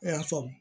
I y'a faamu